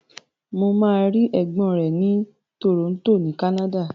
Mo ma rí ègbón rẹ ni Toronto ni Canada.